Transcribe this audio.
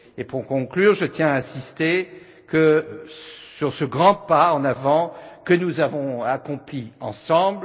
Pour conclure, je tiens à insister sur ce grand pas en avant, que nous avons accompli ensemble.